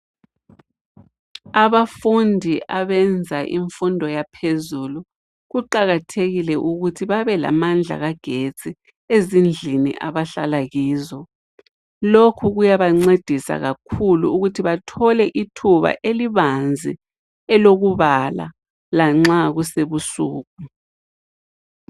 Abafundi abenza imfundo yaphezulu kuqakathekile ukuthi babelamandla kagetsi ezindlini abahlala kizo, lokhu kuyabancedisa kakhulu ukuthi bathole ithuba elibanzi elokubala lanxa kusebusuku.